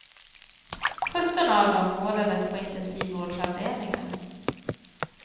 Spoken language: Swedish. Sjutton av dem vårdades på intensivvårdsavdelningar.